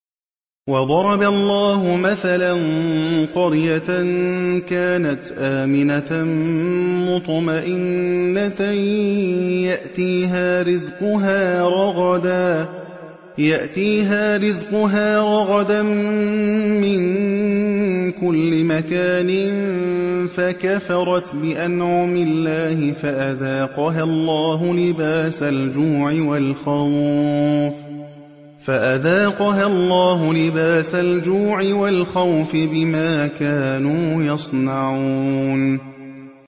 وَضَرَبَ اللَّهُ مَثَلًا قَرْيَةً كَانَتْ آمِنَةً مُّطْمَئِنَّةً يَأْتِيهَا رِزْقُهَا رَغَدًا مِّن كُلِّ مَكَانٍ فَكَفَرَتْ بِأَنْعُمِ اللَّهِ فَأَذَاقَهَا اللَّهُ لِبَاسَ الْجُوعِ وَالْخَوْفِ بِمَا كَانُوا يَصْنَعُونَ